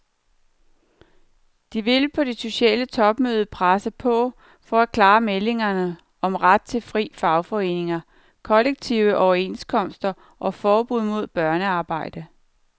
De vil på det sociale topmøde presse på for klare meldinger om ret til frie fagforeninger, kollektive overenskomster og forbud mod børnearbejde.